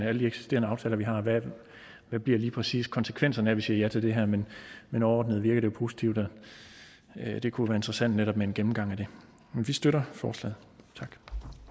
alle de eksisterende aftaler vi har hvad bliver lige præcis konsekvenserne af at vi siger ja til det her men men overordnet virker det positivt og det kunne være interessant netop med en gennemgang af det men vi støtter forslaget